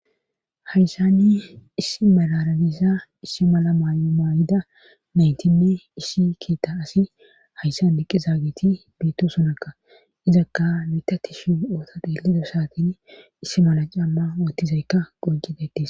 Hayssanni issi malaranissa issi mala maay maayida nayntinne iisi keetta asi hayssan biqqi zaagiti biitto sunakka izakka mitati shi oota deelido saatin issi mala camma wottizaykka gojidatis.